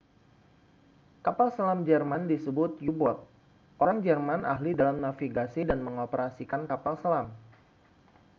kapal selam jerman disebut u-boat orang jerman ahli dalam navigasi dan mengoperasikan kapal selam